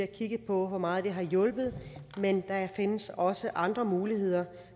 kigget på hvor meget det har hjulpet men der findes også andre muligheder